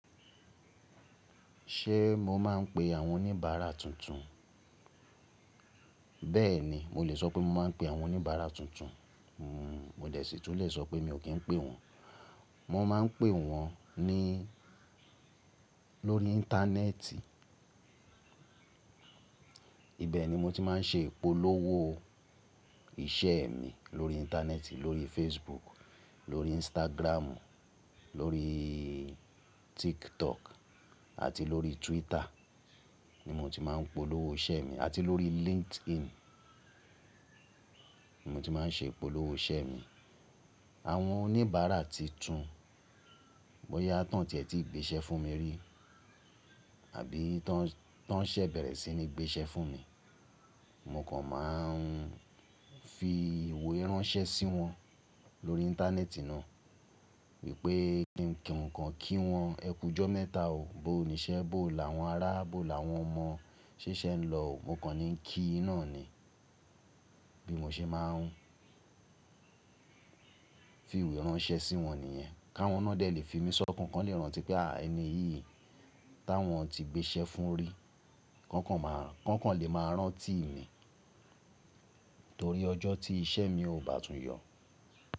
Ṣe mo maa n pe àwọn oníbàárà tuntun? Bẹ́ẹ̀ni, mo lè sọ pé mo maa n pe àwọn oníbàárà tuntun, mo dè sì tún lè sọ pé mi ò kí ń pe wọ́n. Mo maa n pe wọn ní, lórí Íńtánẹ́ẹ̀tì. Ibẹ̀ ni mo ti máa ń ṣe ìpolówó iṣẹ́ mi. Lórí Íńtánẹ́ẹ̀tì, lórí Facebook, lórí Instagram, lórí TikTok àti lórí Twitter ni mo ti máa ń polówó iṣẹ́ mi, àti lórí LinkedIn. Mo ti máa ń ṣe ìpolówó iṣẹ́ mi. Àwọn oníbàárà titun, bóyá tán tì ẹ ti gbéṣẹ́ fún mi rí àbí ton tọ́n ṣẹ́ bẹ̀rẹ̀ sí ní gbéṣẹ́ fún mi, mo kàn máa ń fi ìwé ránṣẹ́ sí wọn lórí Íńtánẹ́ẹ̀tì náà wípé ki ǹkan kí wọn, ẹ kù jọ́ mẹ́ta o, bó ni iṣẹ́, bó làwọn ará, bó làwọn ọmọ, ṣé iṣẹ ń lọ o. Mo kàn ní ń kí yin ná ni. Bí mo ṣe máa ń fi ìwé ránṣẹ́ sí wọn nìyẹn. Káwọn náà dẹ̀ lè fi mí sọ́kàn, kan lè rántí pé à ẹni yìí táwọn ti gbéṣẹ́ fún rí, kan kan lè máa rántí mi torí ọjọ́ tí iṣẹ́ mi ò bá tún yọ̀.